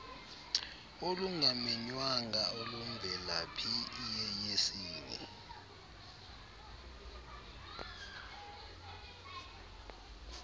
olungamenywanga olumvelaphi iyeyesini